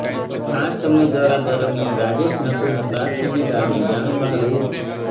આ સમયગાળા દરમ્યાન રાજેશ નકુમે કારખાનેદારની જાણ બહાર રૂા